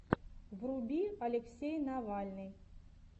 вруби алексей навальный